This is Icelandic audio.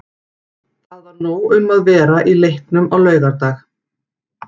Það var nóg um að vera í leiknum á laugardag.